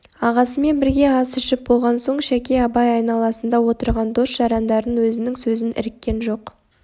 ағасымен бірге ас ішіп болған соң шәке абай айналасында отырған дос-жарандарынан өзінің сөзін іріккен жоқ